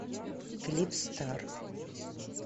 клип стар